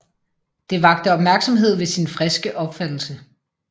Det vakte Opmærksomhed ved sin friske Opfattelse